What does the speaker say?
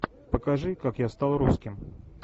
покажи как я стал русским